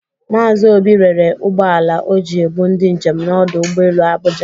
Maazi Obi rere ụgbọ ala o ji ebu ndị njem n'ọdụ ụgbọelu Abụja.